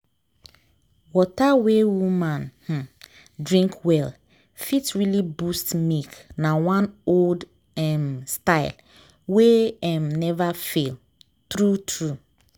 water wey woman um drink well fit really boost milk na one old um style wey um never fail… true true.